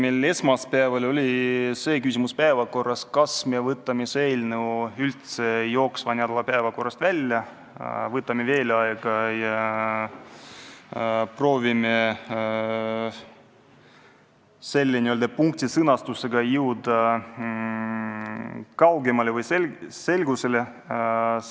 Tõesti, esmaspäeval oli meil arutusel küsimus, kas me võtame selle eelnõu jooksva nädala päevakorrast välja, võtame veel aega juurde ja proovime selle punkti sõnastuse osas rohkem selgusele jõuda.